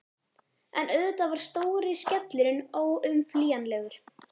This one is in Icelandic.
En auðvitað var stóri skellurinn óumflýjanlegur.